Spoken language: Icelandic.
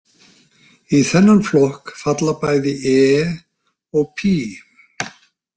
Í þennan flokk falla bæði e og pí.